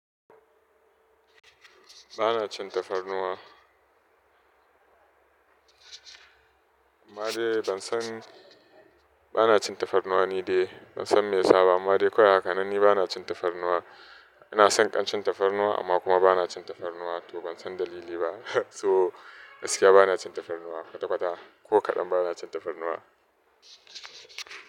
Ba na cin tafarnuwa. Amma dai ban san, ba na cin tafarnuwa ni dai. Ban san me ya saba amma dai kawai haka nan ni ba na cin tafarnuwa. Ina son kamshin tafarnuwa amma kuma ba na cin tafarnuwa to ban san dalili ba. So gaskiya ba na cin tafarnuwa kwata-kwata. Ko kaɗan ba na cin tafarnuwa.